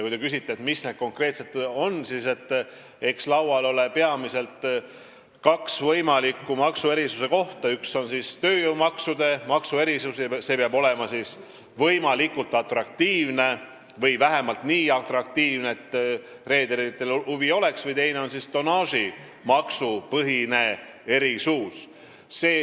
Kui te küsite, mis need erisused konkreetselt on, siis eks laual ole peamiselt kaks võimalikku maksuerisust: üks on tööjõumaksude maksuerisus, mis peab olema võimalikult atraktiivne või vähemalt nii atraktiivne, et reederitel oleks huvi, ja teine on tonnaažimaksupõhine maksuerisus.